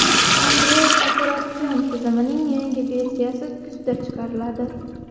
Android operatsion tizimining yangi versiyasi kuzda chiqariladi.